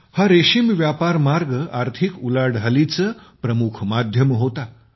हा रेशीम मार्ग व्यापारआर्थिक उलाढालींचे प्रमुख माध्यम होता